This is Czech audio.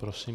Prosím.